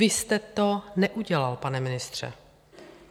Vy jste to neudělal, pane ministře.